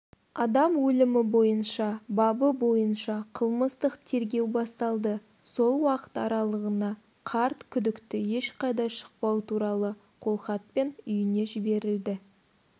адам өлімі бойынша бабы бойынша қылмыстық тергеу басталды сол уақыт аралығына қарт күдікті ешқайда шықпау туралы қолхатпен үйіне жіберілді